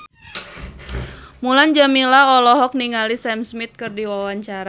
Mulan Jameela olohok ningali Sam Smith keur diwawancara